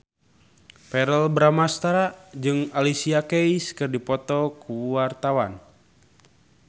Verrell Bramastra jeung Alicia Keys keur dipoto ku wartawan